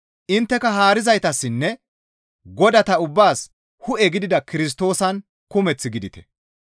Intteka haarizaytassinne godata ubbaas hu7e gidida Kirstoosan kumeth gidite.